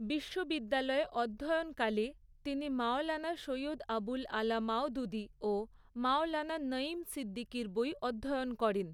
বিশ্ববিদ্যালয়ে অধ্যয়নকালে, তিনি মওলানা সৈয়দ আবুল আলা মওদূদী ও মওলানা নঈম সিদ্দিকীর বই অধ্যয়ন করেন।